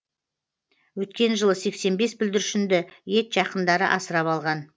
өткен жылы сексен бес бүлдіршінді ет жақындары асырап алған